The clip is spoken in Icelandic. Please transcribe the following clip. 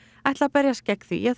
ætla að berjast gegn því að